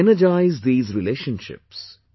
To energise these relationships